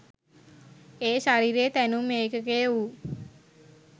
ඒ ශරීරයේ තැනුම් ඒකකය වූ